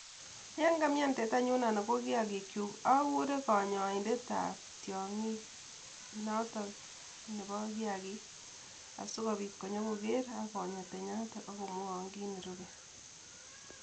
Yon kamian tetanyun anan ko kiyagikyuk agure kanyoindetap tiong'ik notok nepo kiyagik asikopiit konyokogeer ak konya tanyatoton ak komwowoon kit nerupe